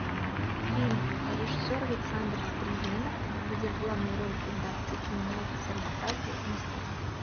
фильм режиссер александр стриженов где в главной роли бондарчук меняется с орбакайте местами